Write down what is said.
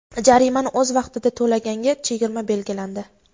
Jarimani o‘z vaqtida to‘laganga chegirma belgilandi.